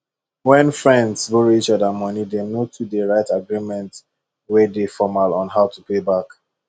when friends borrow each other money dem no too dey write agreement wey dey formal on how to pay back